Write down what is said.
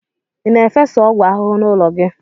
Ị na-efesa ọgwụ ahụhụ n'ụlọ ọrụ gị?